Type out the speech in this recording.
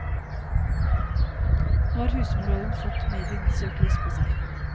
Nå har husmorrollen fått medienes søkelys på seg.